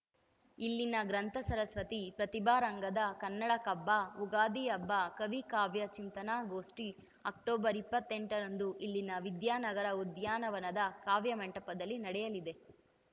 ಇಲ್ಲಿನ ಗ್ರಂಥ ಸರಸ್ವತಿ ಪ್ರತಿಭಾರಂಗದ ಕನ್ನಡ ಕಬ್ಬ ಉಗಾದಿ ಹಬ್ಬ ಕವಿ ಕಾವ್ಯ ಚಿಂತನಾ ಗೋಷ್ಠಿ ಅಕ್ಟೋಬರ್ ಇಪ್ಪತ್ತೆಂಟರಂದು ಇಲ್ಲಿನ ವಿದ್ಯಾನಗರ ಉದ್ಯಾನವನದ ಕಾವ್ಯ ಮಂಟಪದಲ್ಲಿ ನಡೆಯಲಿದೆ